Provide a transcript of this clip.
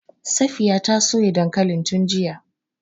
Safiya ta soya dankalin tun jiya.